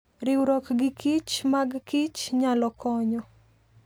Riwruok gikich mag kichnyalo konyo.